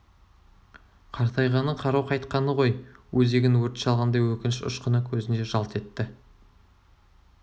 қартайғаны кару қайтқаны ғой өзегін өрт шалғандай өкініш ұшқыны көзінде жалт етті